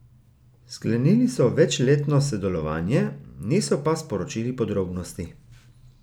Sklenili so večletno sodelovanje, niso pa sporočili podrobnosti.